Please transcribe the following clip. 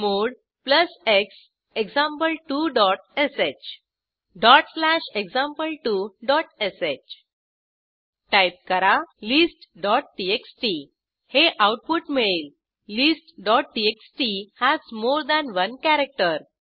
chmod plus x example two dot sh dot slash example two dot sh type करा list TXT हे output मिळेल list TXT has more than one character